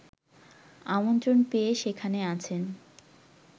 আমন্ত্রণ পেয়ে সেখানে আছেন